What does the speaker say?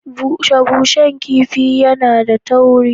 Bushe shen kifi yAna da tauri